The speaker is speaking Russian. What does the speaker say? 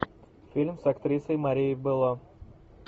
фильм с актрисой марией белло